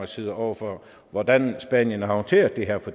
side over for hvordan spanien har håndteret det her